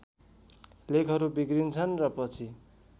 लेखहरू बिग्रिन्छन् र पछि